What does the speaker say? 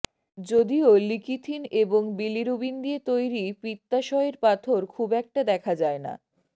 যদিও লিকিথিন এবং বিলিরুবিন দিয়ে তৈরি পিত্তাসয়ের পাথর খুব একটা দেখা যায় না